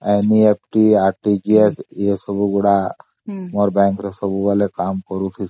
ମୁଁ ସବୁବଳେ NEFT RTGS transaction ଚାଲିଛି